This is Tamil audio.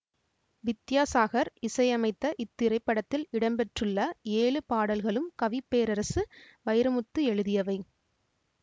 வித்யாசாகர் இசையமைத்த இத்திரைப்படத்தில் இடம்பெற்றுள்ள ஏழு பாடல்களும் கவி பேரரசு வைரமுத்து எழுதியவை